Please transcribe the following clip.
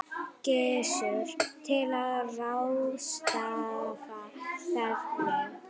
Gissur: Til að ráðstafa hvernig?